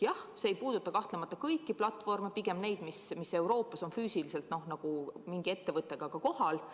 Jah, see ei puuduta kahtlemata kõiki platvorme, pigem neid, mis Euroopas on füüsiliselt mingi ettevõttega ka kohal.